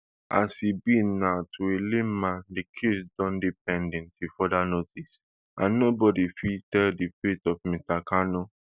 as e be now to a layman di case don dey pending till further notice and nobody fit tell di fate of mr kanu